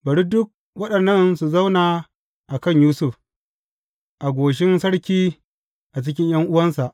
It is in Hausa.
Bari duk waɗannan su zauna a kan Yusuf, a goshin sarki a cikin ’yan’uwansa.